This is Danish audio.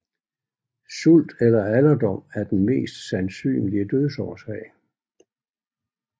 Sult eller alderdom er den mest sandsynlige dødsårsag